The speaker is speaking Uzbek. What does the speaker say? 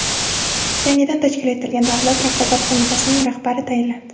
Yangidan tashkil etilgan Davlat raqobat qo‘mitasining rahbari tayinlandi.